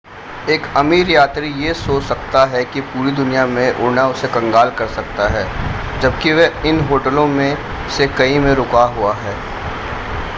एक अमीर यात्री यह सोच सकता है कि पूरी दुनिया में उड़ना उसे कंगाल कर सकता है जबकि वह इन होटलों में से कई में रुका हुआ है